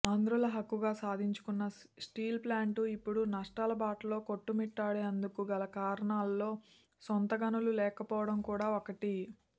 ఆంధ్రుల హక్కుగా సాధించుకున్న స్టీల్ప్లాంట్ ఇప్పుడు నష్టాల బాటలో కొట్టుమిట్టాడేందుకు గల కారణాల్లో సొంత గనులు లేకపోవడం కూడా ఒకటి